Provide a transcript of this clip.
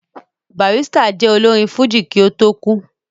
Barrister jẹ́ olórin fújì kí ó tó kú